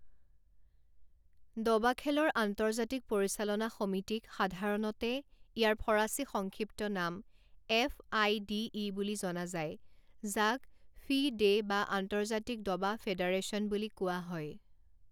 দবাখেলৰ আন্তৰ্জাতিক পৰিচালনা সমিতিক সাধাৰণতে ইয়াৰ ফৰাচী সংক্ষিপ্ত নাম এফআইডিই বুলি জনা যায় যাক ফি ডে বা আন্তৰ্জাতিক দবা ফেডাৰেচন বুলি কোৱা হয়।